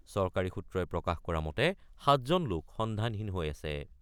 চৰকাৰী সূত্ৰই প্ৰকাশ কৰা মতে ৭জন লোক সন্ধানহীন হৈ আছে।